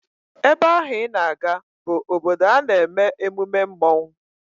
Ebe ahụ I na-aga bụ obodo a na-eme emume mmọnwụ